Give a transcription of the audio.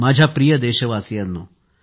माझ्या प्रिय देशवासियांनो